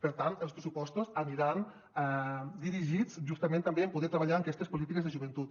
per tant els pressupostos aniran dirigits justament també en poder treballar en aquestes polítiques de joventut